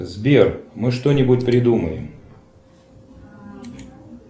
сбер мы что нибудь придумаем